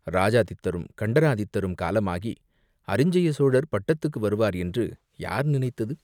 இராஜாதித்தரும் கண்டராதித்தரும் காலமாகி அரிஞ்சய சோழர் பட்டத்துக்கு வருவார் என்று யார் நினைத்தது?